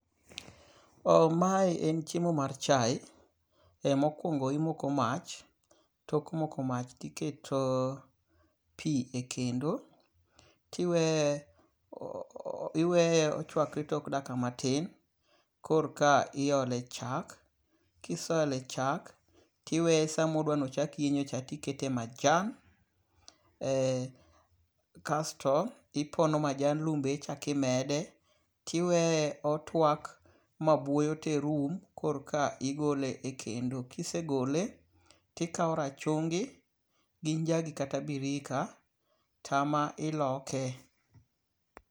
Mae en chiemo mar chae. Mokwongo imoko mach. Tok moko mach tiketo pi e kendo. Tiweye iweye ochwakore tok dakika matin. Kor ka iole chak. Kiseole chak, tiweye sama odwa no ochak yienyo cha tikete majan. Kaesto ipono majan lum be ichak imede. Tiweye otwak ma bwoyo ter rum kor ka igole ek kendo. Kisegole tikaw rachungi gi njagi kata birika tema iloke.